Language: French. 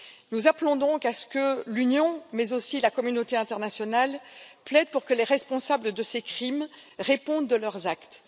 Nous appelons donc à ce que l'Union, mais aussi la communauté internationale, plaide pour que les responsables de ces crimes répondent de leurs actes.